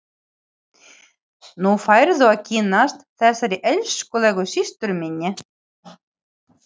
Nú færðu að kynnast þessari elskulegu systur minni!